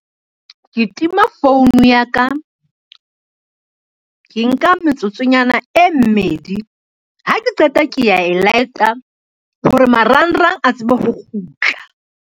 Ke tima phone ya ka. Ke nka metsotsonyana e mmedi, ha ke qeta ke ya e light-a hore marangrang a tsebe ho kgutla.